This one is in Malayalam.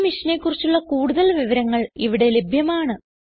ഈ മിഷനെ കുറിച്ചുള്ള കുടുതൽ വിവരങ്ങൾ ഇവിടെ ലഭ്യമാണ്